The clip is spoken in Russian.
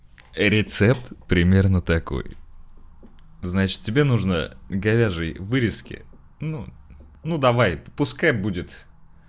рецепт примерно такой значит тебе нужно говяжей вырезки ну ну давай пускай будет